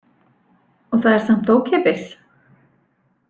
Og það er samt ókeypis?